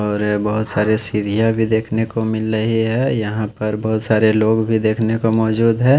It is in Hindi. और ये बहोत सारे सीढ़ियां भी देखने को मिल रही है यहाँ पर बहोत सारे लोग भी देखने को मौजूद हैं।